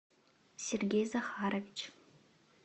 сергей захарович